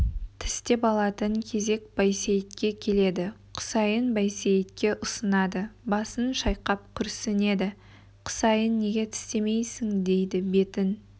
тістеп алатын кезек байсейітке келеді құсайын байсейітке ұсынады басын шайқап күрсінеді құсайын неге тістемейсің дейді бетін